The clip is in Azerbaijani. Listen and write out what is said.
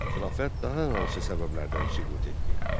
Xilafət daha hansı səbəblərdən süqut etdi?